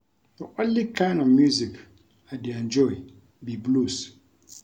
The only kin of music I dey enjoy be blues